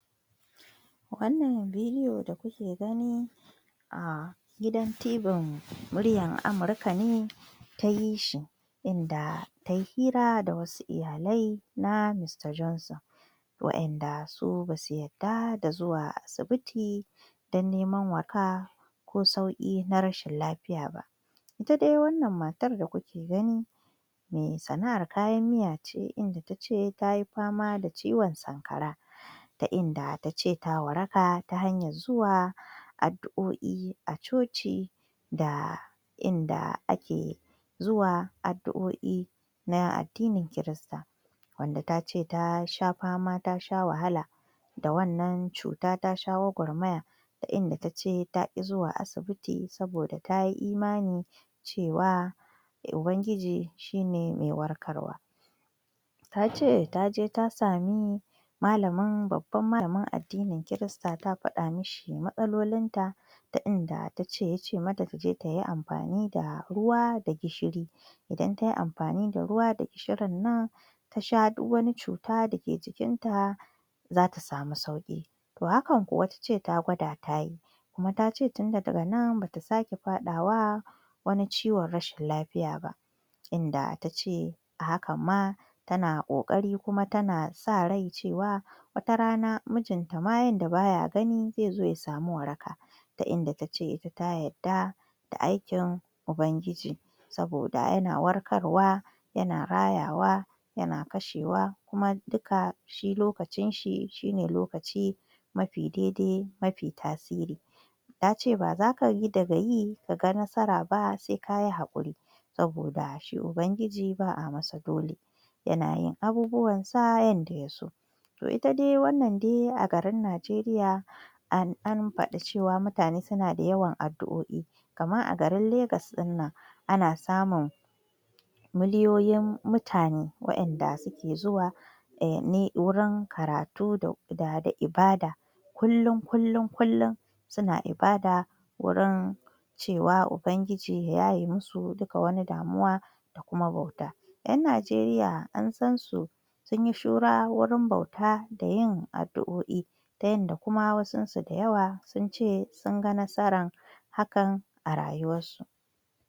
Wannan bidiyo da kuke gani a gidan TVn Muryar Amuka ne ta yi shi inda ta yi hira da wasu iyalai na Mista Jonson wadanda su ba su yarda da zuwa asibit don neman waraka ko sauki na rshin lafiya ba ita dai wannan matar da kuke gani mai sana'ar kayan miya ce inda ta ce ta yi fama da ciwon Sankara ta inda ta ce ta waraka ta hanyar zuwa addu'o'i a coci da da inda ake zuwa addu'o'i na addinin kirista wanda ta ce ta sha fama ta sha wahala da wannan cuta ta sha gwagwarmaya ta inda ta ce taki zuwa asibiti saboda ta yi imani cewa Ubangiji shi ne mai warkarwa ta ce ta je ta sami babban malamin addinin Kirista ta fada ma shi matsalolinta ta inda ta ce ya ce mata ta je ta yi amfani da ruwa da gishiri idan ta yi amfani da ruwa da gishirin nan ta sha duk wani cuta dake jikinta za ta samu sauki hakan kuwa ta ce taa gwada ta yi kuma ta ce tun daga nan ba ta sake fadawa wani ciwon rashin lafiya ba inda ta ce a hakan ma tana kokari kuma tana sa rai cewa watarana mijinta ma yanda ba ya gani zai zo ya samu waraka ta inda ta ce ita ta yarda da aikin Ubangiji saboda yana warkarwa yana rayawa yana kashewa kuma duka shi lokacin shi shi ne lokaci mafi daidai mafi tasiri ta ce b za ka yi daga yi ka ga nasara ba sai ka yi hakuri saboda shi Ubangiji ba a yi masa dole yana yin abubuwanSa yanda ya so to ita wannan dai a kasar Najeriya an fadi mutane suna da yawan addu'o'i kamar a garin Legas din nan ana samun miliyoyin mutane wadanda suke zuwa wurin karatu da ibada kullum-kullum-kullum suna i bada wurin cewa Ubangiji ya yaye musu dukkan wata damuwa da kuma bauta yan Najeriya an san su sun yi shura wurin bauta da yin addu'o'i ta yanda kuma wasunsu da yawa sun ce sun ga nasarar hakan a rayuwarsu.